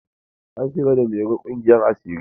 An shigar da mairo ƙungiyar asiri.